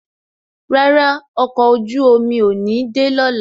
Rárá, ọkọ̀ ojú omi ò ní de lọ́la